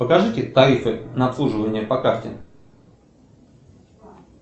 покажите тарифы на обслуживание по карте